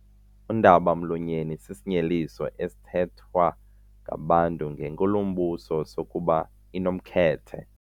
Undaba-mlonyeni sisinyeliso esithethwa ngabantu ngenkulumbuso sokuba inomkhethe.